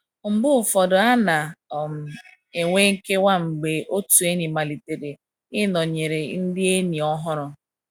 Mgbe ụfọdụ a na - um enwe nkewa mgbe otu enyi malitere ịnọnyere ndị enyi ọhụrụ.